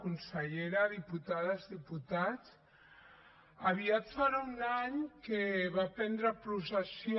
consellera diputades diputats aviat farà un any que va prendre possessió